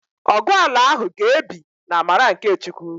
Ọgu ala ahụ ga-ebi n'amara nke Chukwu